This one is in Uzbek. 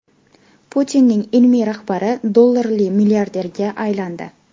Putinning ilmiy rahbari dollarli milliarderga aylandi.